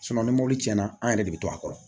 ni mɔbili tiɲɛna an yɛrɛ de bi to a kɔrɔ